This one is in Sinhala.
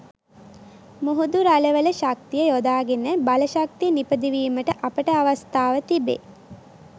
මුහුදු රළවල ශක්තිය යොදා ගෙන බලශක්තිය නිපදවීමට අපට අවස්ථාව තිබේ.